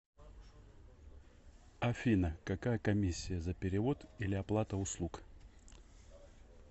афина какая комиссия за перевод или оплата услуг